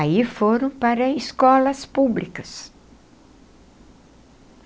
Aí foram para escolas públicas.